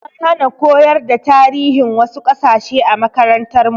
An hana koyar da tarihin wasu kasashe a makarantar mu